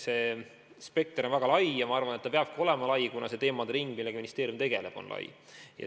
See spekter on väga lai ja ma arvan, et peabki olema, kuna see teemade ring, millega ministeerium tegeleb, on lai.